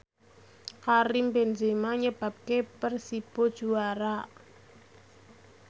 Karim Benzema nyebabke Persibo juara